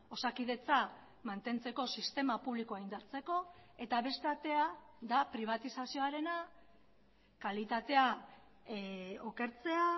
osakidetza mantentzeko sistema publikoa indartzeko eta beste atea da pribatizazioarena kalitatea okertzea